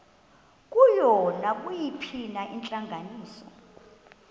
kuyo nayiphina intlanganiso